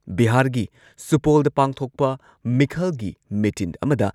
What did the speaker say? ꯕꯤꯍꯥꯥꯔꯒꯤ ꯁꯨꯄꯣꯜꯗ ꯄꯥꯡꯊꯣꯛꯄ ꯃꯤꯈꯜꯒꯤ ꯃꯤꯇꯤꯟ ꯑꯃꯗ